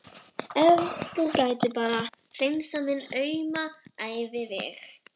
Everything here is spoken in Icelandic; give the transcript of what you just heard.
Ef þú gætir nú bara hreinsað minn auma æviveg.